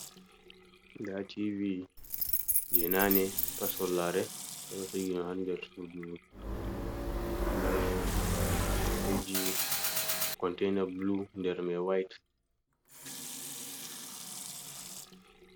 Nda t v je nane pat sollare, ɓeɗo sigi ɗum ha nder sudu be keji containar blu nder maj white.